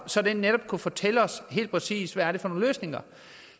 så den netop kunne fortælle os helt præcist hvad det er for nogle løsninger